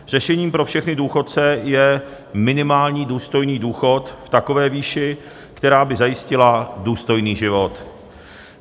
Řešením pro všechny důchodce je minimální důstojný důchod v takové výši, která by zajistila důstojný život.